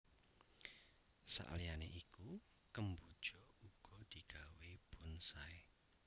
Saliyané iku kemboja uga digawé bonsai